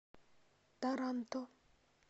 таранто